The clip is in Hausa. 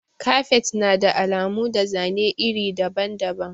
Kafet na da alamu da zane iri daban-daban.